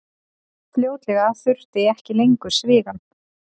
Fljótlega þurfti ekki lengur svigann.